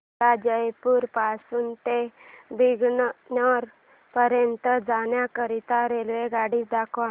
मला जयपुर पासून ते बीकानेर पर्यंत जाण्या करीता रेल्वेगाडी दाखवा